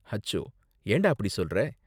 அச்சோ, ஏன்டா அப்படி சொல்ற?